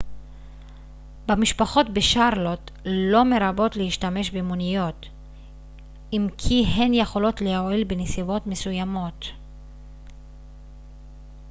במשפחות בשארלוט לא מרבות להשתמש במוניות אם כי הן יכולות להועיל בנסיבות מסוימות